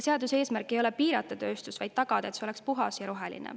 Seaduse eesmärk ei ole piirata tööstust, vaid tagada, et see oleks puhas ja roheline.